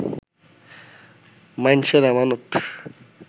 মাইনষের আমানত